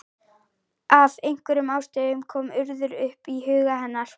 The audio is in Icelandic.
Af einhverjum ástæðum kom Urður upp í huga hennar.